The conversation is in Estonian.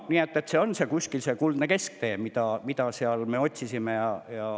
Nii et see on kuldne kesktee, mida me otsisime.